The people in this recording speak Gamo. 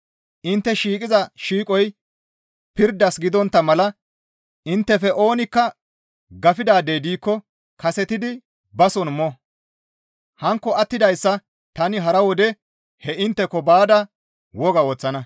Intte shiiqiza shiiqoy pirdas gidontta mala inttefe oonikka gafidaadey diikko kasetidi ba soon mo; hankko attidayssa tani hara wode hee intteko baada woga woththana.